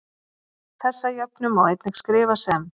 Þessa jöfnu má einnig skrifa sem